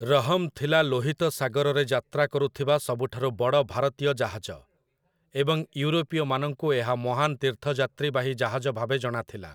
ରହମ୍' ଥିଲା ଲୋହିତ ସାଗରରେ ଯାତ୍ରା କରୁଥିବା ସବୁଠାରୁ ବଡ଼ ଭାରତୀୟ ଜାହାଜ, ଏବଂ ୟୁରୋପୀୟମାନଙ୍କୁ ଏହା ମହାନ ତୀର୍ଥଯାତ୍ରୀବାହୀ ଜାହାଜ ଭାବେ ଜଣାଥିଲା ।